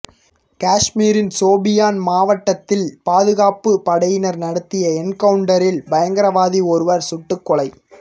காஷ்மீரின் சோபியான் மாவட்டத்தில் பாதுகாப்பு படையினர் நடத்திய என்கவுண்டரில் பயங்கரவாதி ஒருவர் சுட்டுக்கொலை